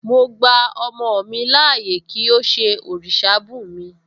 Mo gba ọmọ mi láàyè kí ó ṣe òrìṣà bùnmi